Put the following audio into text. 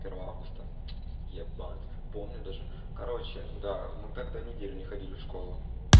первого августа ебать помню даже короче да мы тогда неделю не ходили в школу